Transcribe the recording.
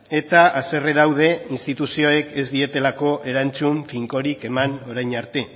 eta haserre daude instituzioek ez dietelako erantzun finkorik eman orain arte